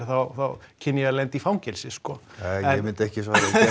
þá kynni ég að lenda í fangelsi sko nei ég myndi ekki